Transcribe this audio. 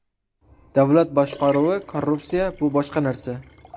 Davlat boshqaruvi, korrupsiya bu boshqa narsa.